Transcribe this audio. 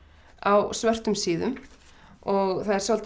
á svörtum síðum og það er svolítið